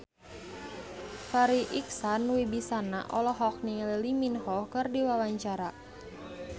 Farri Icksan Wibisana olohok ningali Lee Min Ho keur diwawancara